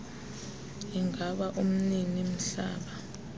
ingaba umnini mhlaba